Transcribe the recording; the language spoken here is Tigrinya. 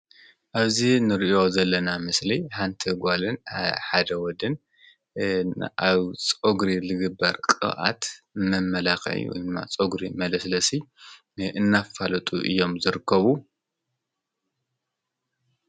እዚ ንርእዮ ዘለና ምስሊ ሓንቲ ጓልን ሓደወድን ኣብ ፆጕሪ ልግበር ቀብኣት መመላኽይ ማ ጾጕሪ መለስለሲ እናፋለጡ እዮም ዝርከቡ።